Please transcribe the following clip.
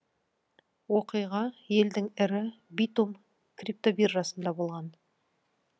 оқиға елдің ірі битум криптобиржасында болған